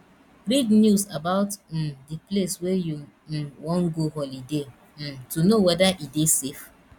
read news about um di place wey you um wan go holiday um to know weda e dey safe